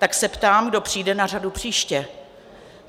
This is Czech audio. Tak se ptám, kdo přijde na řadu příště?